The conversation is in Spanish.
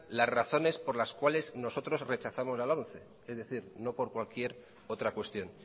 las razones por las cuales razones por las cuales nosotros rechazamos la lomce es decir no por cualquier otra cuestión